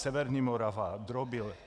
Severní Morava - Drobil.